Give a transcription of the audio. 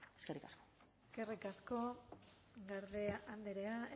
eskerrik asko eskerrik asko garde andrea